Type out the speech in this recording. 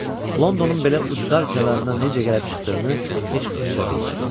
Londonun belə ucqar kənarında necə gəlib çıxdığını heç özü də bilmədi.